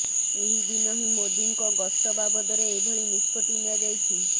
ଏହି ଦିନ ହିଁ ମୋଦିଙ୍କ ଗସ୍ତ ବାବଦରେ ଏଭଳି ନିଷ୍ପତ୍ତି ନିଆଯାଇଛି